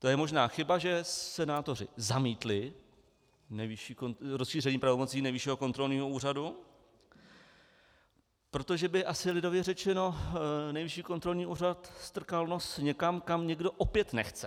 To je možná chyba, že senátoři zamítli rozšíření pravomocí Nejvyššího kontrolního úřadu, protože by asi, lidově řečeno, Nejvyšší kontrolní úřad strkal nos někam, kam někdo opět nechce.